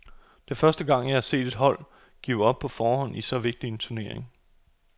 Det er første gang, jeg har set et hold give op på forhånd i så vigtig en turnering.